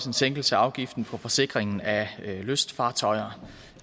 en sænkelse af afgiften for forsikringen af lystfartøjer